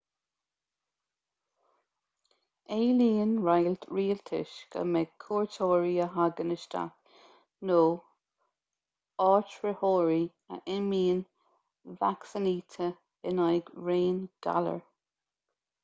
éilíonn roinnt rialtas go mbeidh cuairteoirí a thagann isteach nó áitritheoirí a imíonn vacsaínithe in aghaidh raon galar